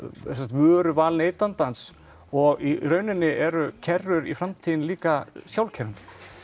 vöruval neytandans og í rauninni eru kerrur í framtíðinni líka sjálfkeyrandi